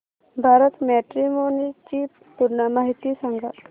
Bharat matrimony ची पूर्ण माहिती सांगा